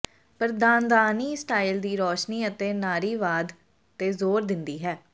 ਪਰ ਧਾਂਦਾਨੀ ਸਟਾਈਲ ਦੀ ਰੋਸ਼ਨੀ ਅਤੇ ਨਾਰੀਵਾਦ ਤੇ ਜ਼ੋਰ ਦਿੰਦੀ ਹੈ